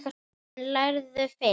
En lærðu fyrst.